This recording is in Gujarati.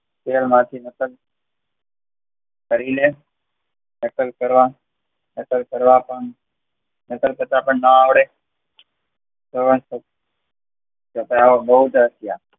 ટેક નાખીને કરીલે. નકલ કરવા નકલ કરવા, નકલ કરતાં બ ના આવડે